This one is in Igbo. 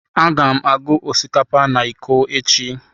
Aga m agụ osikapa na iko echi.